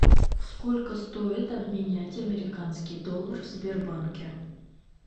сколько стоит обменять американский доллар в сбербанке